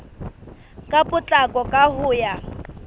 ka potlako ka ho ya